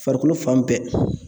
Farikolo fan bɛɛ